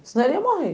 Senão, ele ia morrer.